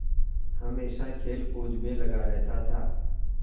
हमेशा खेलकूद में लगा रहता था